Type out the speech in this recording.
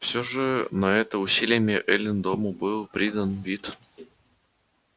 всё же на это усилиями эллин дому был придан вид